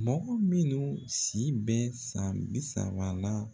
Mɔgɔ minnu si bɛ san bi saba la.